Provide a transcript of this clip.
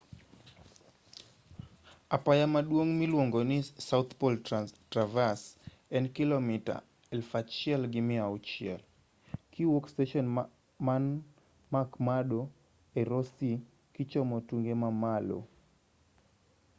barabara miluongoni south pole traverse apaya maduong' en kilomita 1,600 kiwuok steshen man mcmurdo e ross sea kichomo tunge malo